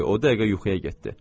O dəqiqə yuxuya getdi.